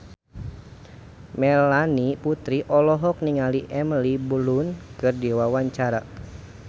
Melanie Putri olohok ningali Emily Blunt keur diwawancara